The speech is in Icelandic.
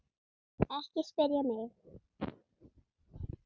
Ekki spyrja mig.